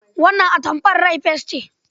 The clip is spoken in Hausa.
Wannan atamfar rai fes ce.